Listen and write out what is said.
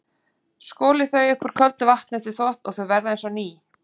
Skolið þau upp úr köldu vatni eftir þvott og þau verða eins og ný.